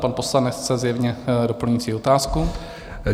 Pan poslanec chce zjevně doplňující otázku.